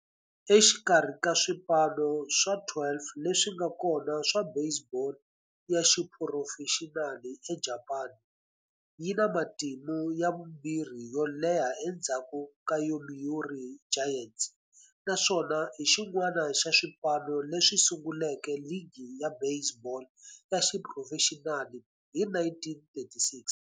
Exikarhi ka swipano swa 12 leswi nga kona swa baseball ya xiphurofexinali eJapani, yi na matimu ya vumbirhi yo leha endzhaku ka Yomiuri Giants, naswona i xin'wana xa swipano leswi sunguleke ligi ya baseball ya xiphurofexinali hi 1936.